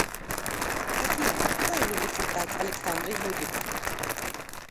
афина куда любит летать александра юрьевна